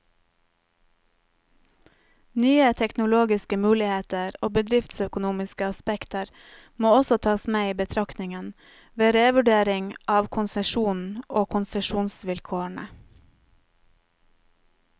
Nye teknologiske muligheter og bedriftsøkonomiske aspekter må også tas med i betraktningen, ved revurdering av konsesjonen og konsesjonsvilkårene.